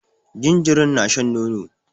Jinjirin na shan nono